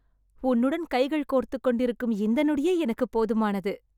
உன்னுடன் கைகள் கோர்த்துக்கொண்டிருக்கும் இந்த நொடியே எனக்கு போதுமானது